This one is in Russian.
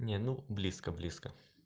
не ну близко близко